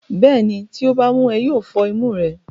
bẹ́ẹ̀ni, tí ó bá mú ẹ, yóò fọ́ imú rẹ.